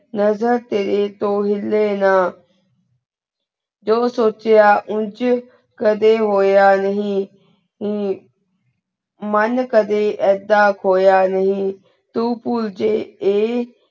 ਨਜ਼ਰ ਤੇਰੀ ਤੋ ਹਿਲੀ ਨਾ ਜੋ ਸੋਚਾਯਾ ਉਜ ਕਦੇ ਹੋਯਾ ਨਹੀ ਅਮ ਮਨ ਕਦੇ ਯਦਾ ਖੋਯਾ ਨਹੀ ਤੂ ਪੁਲ ਜੇ ਆਯ